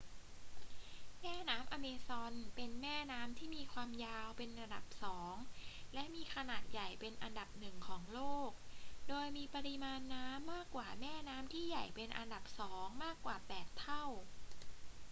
แม่น้ำอเมซอนเป็นแม่น้ำที่มีความยาวเป็นอันดับสองและมีขนาดใหญ่เป็นอันดับหนึ่งของโลก โดยมีปริมาณน้ำมากกว่าแม่น้ำที่ใหญ่เป็นอันดับสองมากกว่า 8 เท่า